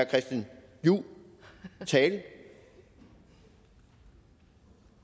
christian juhls tale er